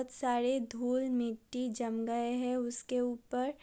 बोहोत सारे धूल मिट्टी जम गए है उसके ऊपर।